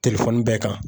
Telefɔni bɛɛ kan